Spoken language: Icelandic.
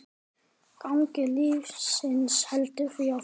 Gangur lífsins heldur því áfram.